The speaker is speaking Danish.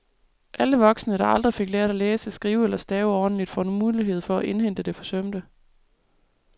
Alle voksne, der aldrig rigtig fik lært at læse, skrive eller stave ordentligt, får nu mulighed for at indhente det forsømte.